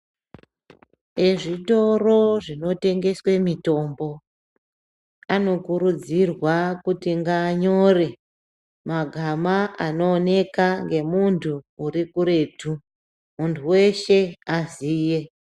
Ezvitoro zvinotengeswe mitombo , anokurudzirwa kuti ngaanyore magama anooneka ngemuntu urikuretu , muntu weshe aziye .